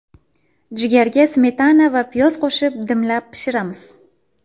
Jigarga smetana va piyoz qo‘shib dimlab pishiramiz.